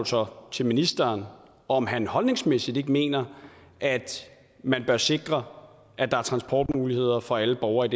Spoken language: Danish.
så til ministeren om han holdningsmæssigt ikke mener at man bør sikre at der er transportmuligheder for alle borgere i